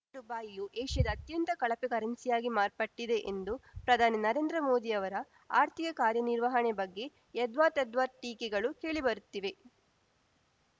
ಯ ರುಪಾಯಿಯು ಏಷ್ಯಾದ ಅತ್ಯಂತ ಕಳಪೆ ಕರೆನ್ಸಿಯಾಗಿ ಮಾರ್ಪಟ್ಟಿದೆ ಎಂದು ಪ್ರಧಾನಿ ನರೇಂದ್ರ ಮೋದಿಯವರ ಆರ್ಥಿಕ ಕಾರ್ಯನಿರ್ವಹಣೆ ಬಗ್ಗೆ ಯದ್ವಾತದ್ವಾ ಟೀಕೆಗಳು ಕೇಳಿಬರುತ್ತಿವೆ